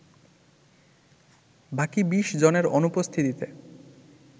বাকি ২০ জনের অনুপস্থিতিতে